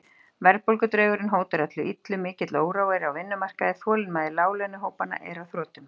Verðbólgudraugurinn hótar öllu illu, mikill órói er á vinnumarkaði, þolinmæði láglaunahópanna er á þrotum.